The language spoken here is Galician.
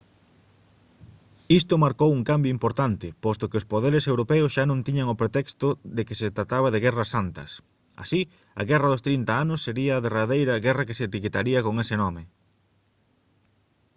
isto marcou un cambio importante posto que os poderes europeos xa non tiñan o pretexto de que se trataba de guerras santas así a guerra dos trinta anos sería a derradeira guerra que se etiquetaría con ese nome